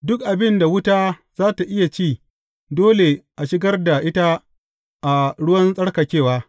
Duk abin da wuta za tă iya ci, dole a shigar da ita a ruwan tsarkakewa.